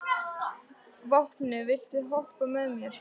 Vápni, viltu hoppa með mér?